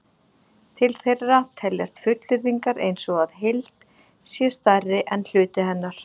Til þeirra teljast fullyrðingar eins og að heild sé stærri en hluti hennar.